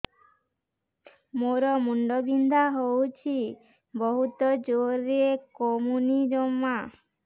ମୋର ମୁଣ୍ଡ ବିନ୍ଧା ହଉଛି ବହୁତ ଜୋରରେ କମୁନି ଜମା